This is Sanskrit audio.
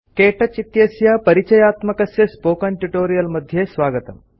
क्तौच इत्यस्य परिचयात्मकस्य स्पोकेन ट्यूटोरियल् मध्ये स्वागतम्